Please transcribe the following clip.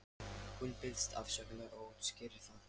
Hún biðst afsökunar og útskýrir það.